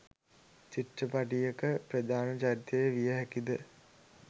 චිත්‍රපටියක ප්‍රධාන චරිතය විය හැකිද?